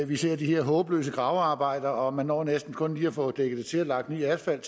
vi ser de her håbløse gravearbejder og man når næsten kun lige at få dækket det til og lagt ny asfalt